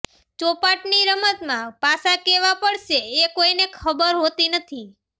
ચોપાટની રમતમાં પાસાં કેવાં પડશે એ કોઈને ખબર હોતી નથી